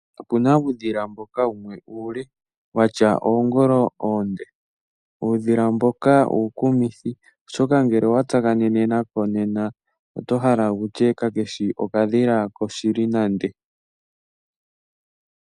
Opu na uudhila mboka wumwe uule wa tya oongolo oonde. Uudhila mboka uukumithi, oshoka ngele owa tsakanene nako nena oto hala wu tye kake shi okadhila koshili nande.